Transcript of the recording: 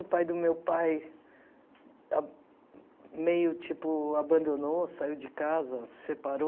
O pai do meu pai meio, tipo, abandonou, saiu de casa, separou.